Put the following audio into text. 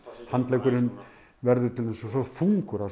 handleggurinn verður til dæmis svo þungur það